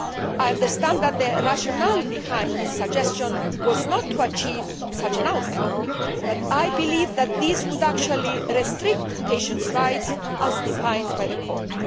I understand that the rationale behind this suggestion was not to achieve such an outcome, but believe that this would actually restrict patients' rights as defined by the Court.